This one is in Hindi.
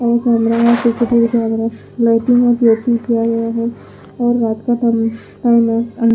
यहां पे रात से सिटी दिखाई दे रहा है और रात का टाइम है।